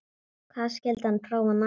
Hvað skyldi hann prófa næst?